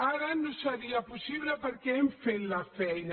ara no seria possible perquè hem fet la feina